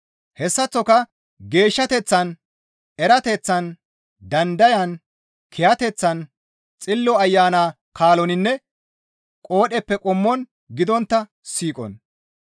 Hessaththoka geeshshateththan, erateththan, dandayan, kiyateththan, Xillo Ayana kaaloninne qoodheppe qommon gidontta siiqon,